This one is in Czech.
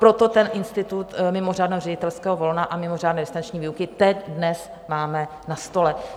Proto ten institut mimořádného ředitelského volna a mimořádné distanční výuky teď dnes máme na stole.